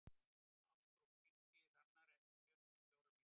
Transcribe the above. Ástrún, hringdu í Hrannar eftir fjörutíu og fjórar mínútur.